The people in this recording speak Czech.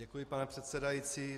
Děkuji, pane předsedající.